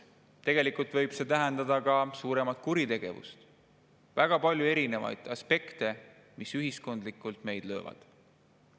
Tegelikult võib see tähendada ka suuremat kuritegevust, väga palju erinevaid aspekte, mis ühiskondlikult meid löövad.